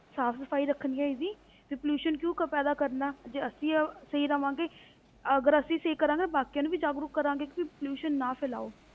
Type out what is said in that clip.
ਸਾਫ਼ ਸਫ਼ਾਈ ਰੱਖਣੀ ਹੈ ਇਸਦੀ ਵੀ pollution ਕਿਉਂ ਪੈਂਦਾ ਕਰਨਾ, ਜੇ ਅਸੀਂ ਸਹੀ ਰਹਾਂਗੇ ਅਗਰ ਅਸੀਂ ਸਹੀ ਕਰਾਂਗੇ ਤੇ ਬਾਕੀਆਂ ਨੂੰ ਵੀ ਜਾਗਰੂਕ ਕਰਾਂਗੇ ਕਿ ਵੀ pollution ਨਾ ਫੈਲਾਓ।